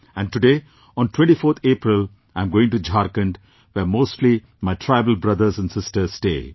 And today, on 24th April, I am going to Jharkhand, where mostly my tribal brothers and sisters stay